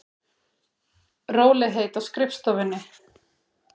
Rólegheit á skrifstofunni.